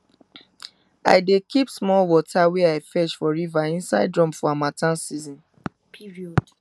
i dey keep small water wey i fetch for river inside drum for harmattan period